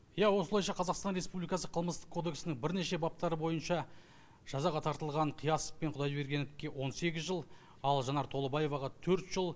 иә осылайша қазақстан республикасы қылмыстық кодексінің бірнеше баптары бойынша жазаға тартылған қиясов пен құдайбергеновке он сегіз жыл ал жанар толыбаевға төрт жыл